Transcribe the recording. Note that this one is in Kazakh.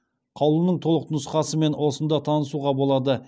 қаулының толық нұсқасымен осында танысуға болады